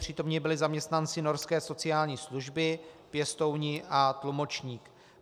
Přítomni byli zaměstnanci norské sociální služby, pěstouni a tlumočník.